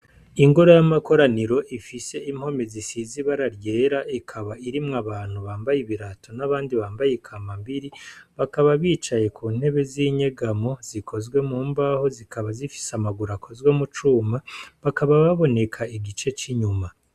Ingoro y'amakoraniro ifise impome zisize ibara ryera ikaba irimwo abantu bambaye ibirato n'abandi bambaye ikambambiri, bakaba bicaye ku ntebe z'inyegamo, zikozwe mu mbaho zikaba zifise amaguru akozwe mu cuma, bakaba baboneka igice c'inyuma.